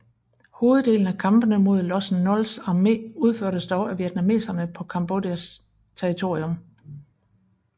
Hoveddelen af kampene mod Lossen Nols armé udførtes dog af vietnameserne på Kambodjas territorium